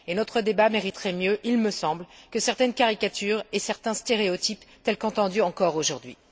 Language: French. Et notre débat mériterait mieux, il me semble, que certaines caricatures et certains stéréotypes tels qu'entendus encore aujourd'hui.